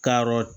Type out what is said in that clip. Ka yɔrɔ